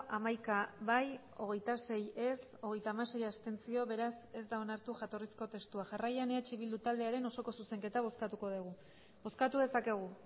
hamaika bai hogeita sei ez hogeita hamasei abstentzio beraz ez da onartu jatorrizko testua jarraian eh bildu taldearen osoko zuzenketa bozkatuko dugu bozkatu dezakegu